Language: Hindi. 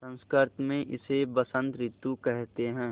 संस्कृत मे इसे बसंत रितु केहेते है